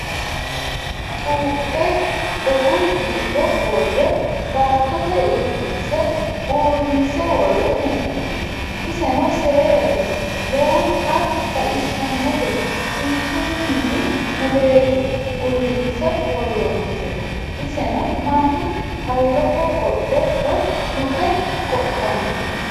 Cuuphe gogu giddo worre baattote irkinse uurrinse worre hee'noonni. iseno seedate lowonta baxissannote kinchumini muleeti uurrinse worronnisehu. Iseno Mannu halloho qodhe woyi Luke qodhannote.